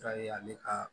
Tare ale ka